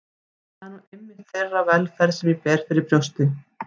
Það er nú einmitt þeirra velferð sem ég ber fyrir brjósti.